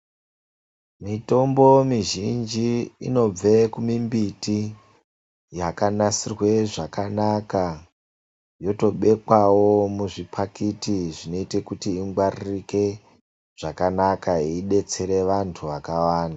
Mitombo mizhinji inobve kumimbiti yakanatsirwe zvakanaka ,yotobepwewo muzvipakati zvakanaka zvinoita zvibetserere vantu akawanda.